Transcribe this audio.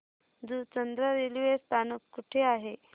Juchandra railway स्थानक कुठे आहे